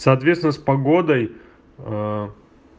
соответственно с погодой аа